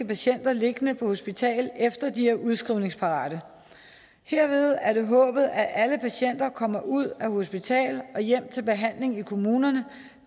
patienter liggende på hospital efter de er udskrivningsparate herved er det håbet at alle patienter kommer ud af hospital og hjem til behandling i kommunerne